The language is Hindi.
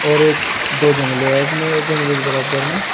और एक दो जंगले है इसमे इस जंगले के बराबर में--